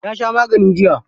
Ya sha magani jiya.